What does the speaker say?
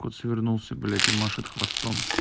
кот свернулся блять и машет хвостом